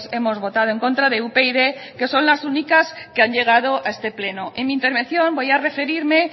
hemos votado en contra de upyd que son las únicas que han llegado a este pleno en mi intervención voy a referirme